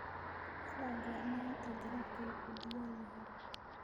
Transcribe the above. Ilaa goorma inta dalabkaygu diyaar yahay?